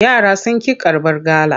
Yara sun ƙi karbar gala.